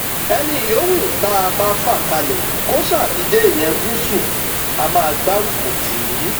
ẹnì yòówù tá a bá fà kalẹ kó ṣáà ti jẹ èèyàn gúúsù á máa gbárùkù tì í